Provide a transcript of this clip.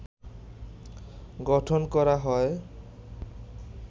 গঠন করা হয়